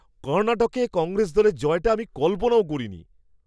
কর্ণাটকে কংগ্রেস দলের জয়টা আমি কল্পনাও করিনি!